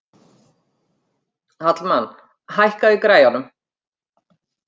Hallmann, hækkaðu í græjunum.